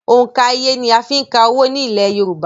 Òǹkà iye ni a ń fí ka owó ní ilẹ̀ yorùbá